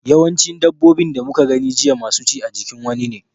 Yawancin dabbobin da muka gani jiya masu ci a jikin wani ne.